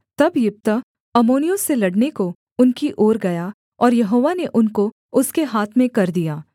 तब यिप्तह अम्मोनियों से लड़ने को उनकी ओर गया और यहोवा ने उनको उसके हाथ में कर दिया